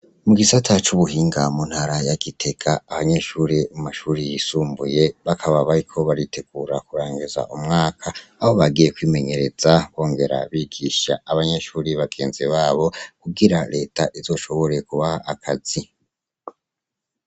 Mugisata cubuhinga mu ntara ya Gitega abanyeshure bo mumashure yisumbuye bakaba bariko baritegura kurangiza umwaka aho bagiye kwimenyereza bongera bigisha abanyeshure bagenzi babo kugira reta izoshobore kubaha akazi.